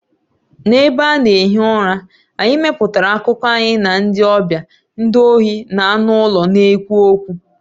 N'ebe a na-ehi ụra, anyị mepụtara akụkọ anyị na ndị ọbịa, ndị ohi, na anụ ụlọ na-ekwu okwu.